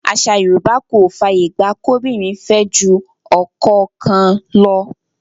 Àṣà Yorùbá kò fàyè gba kóbìnrin fẹ́ ju ọkọ kan lọ.